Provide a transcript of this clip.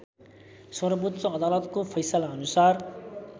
सर्वोच्च अदालतको फैसलाअनुसार